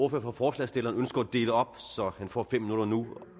ordfører for forslagsstillerne ønsker at dele op så han får fem minutter nu